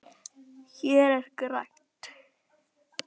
Hér er grænt.